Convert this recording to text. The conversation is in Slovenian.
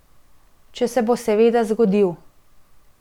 Če se bo seveda zgodil.